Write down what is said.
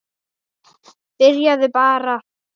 Byrjaðu bara.